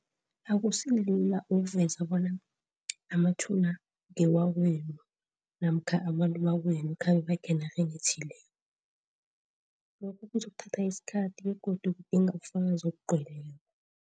Akusilula ukuveza bona amathuna ngewakwenu namkha abantu bakwenu khabe bakhe enarheni ethileko. Lokho kuzokuthatha isikhathi begodu budinga ubugazi obugcweleko.